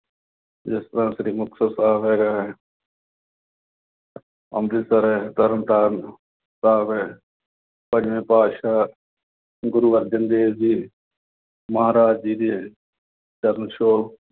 ਜਿਸ ਤਰ੍ਹਾਂ ਸ੍ਰੀ ਮੁਕਤਸਰ ਸਾਹਿਬ ਹੈਗਾ। ਅੰਮ੍ਰਿਤਸਰ ਆ, ਤਰਨ ਤਾਰਨ ਸਾਹਿਬ ਆ। ਪੰਜਵੇਂ ਪਾਤਿਸ਼ਾਹ ਗੁਰੂ ਅਰਜਨ ਦੇਵ ਜੀ ਮਹਾਰਾਜ ਜੀ ਦੇ ਚਰਨ ਛੋਹ